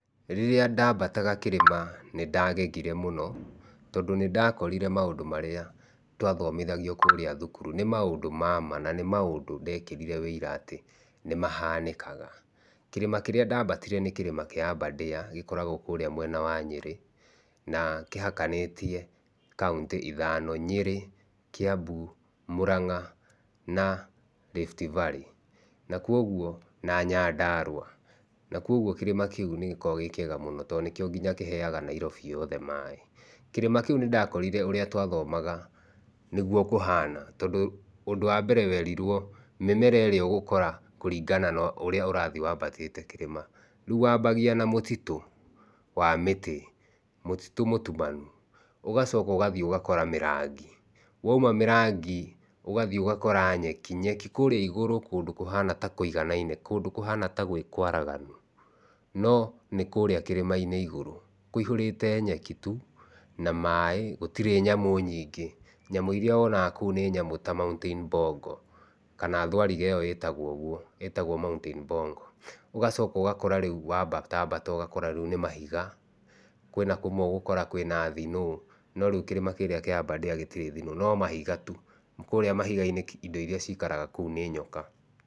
Rĩrĩa ndambataga kĩrĩma nĩ ndagegire mũno, tondũ nĩ ndakorire maũndũ marĩa twathomithagio kũrĩa thukuru. Nĩ maũndũ ma ma na nĩ maũndũ ndekĩrire ũira atĩ nĩ mahanĩkaga. Kĩrĩma kĩrĩa ndambatire nĩ kĩrĩma kĩa Aberdare gĩkoragwo kũrĩa mwena wa Nyĩrĩ na kĩhakanĩtie kauntĩ ithano; Nyĩrĩ, Kiambu, Mũranga na Rift Valley na kwoguo na Nyandarũa. Na kwoguo kĩrĩma kĩu nĩ gĩkoragwo gĩ kĩega mũno, tondũ nĩkĩo nginya kĩheaga Nairobi yothe maĩ. Kĩrĩma kĩu nĩ ndakorire ũrĩa twathomaga nĩguo kũhana, tondũ ũndũ wa mbere werirwo mĩmera ĩrĩa ũgũkora kũringana na ũrĩa ũrathiĩ wambatĩte kĩrĩma. Rĩu wambagia na mũtitũ wa mĩtĩ, mũtitũ mũtumanu, ũgacoka ũgathiĩ ũgakora mĩrangi, woima mĩrangi ũgathiĩ ũgakora nyeki, nyeki kũrĩa igũrũ kũndũ kũhana ta kũiganaine, kũndũ kũhana ta gwĩ kũigananu, no nĩ kũrĩa kĩrĩma-inĩ igũrũ. Kũihũrĩte nyeki tuu na maĩ gũtirĩ nyamũ nyingĩ. Nyamũ irĩa wonaga kũu ni nyamũ ta mountain bongo kana thũariga ĩyo ĩtagwo ũguo, ĩtagwo mountain bongo. Ũgacoka ugakora rĩu wambatambata ũgakora rĩu ni mahiga, kwĩna kũmwe ũgũkora kwĩna snow no rĩu kĩrĩma kĩrĩa kĩa Aberdare gĩtirĩ snow no mahiga tu. Kũrĩa mahiga-inĩ indo irĩa cikaraga kũu nĩ nyoka.